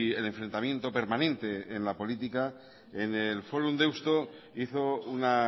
el enfrentamiento permanente en la política en el forum deusto hizo una